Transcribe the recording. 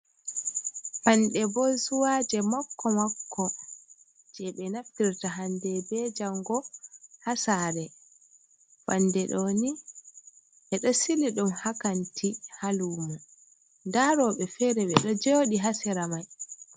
Panɗe bozuwaje makko makko je ɓe naftirta hande be jango hasare, fande ɗo ni ɓeɗo sili ɗum ha kanti ha lumo, nda roɓe fere ɓeɗo joɗi ha sera mai.